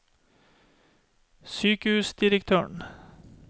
sykehusdirektøren